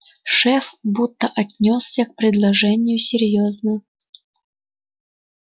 шеф будто отнёсся к предложению серьёзно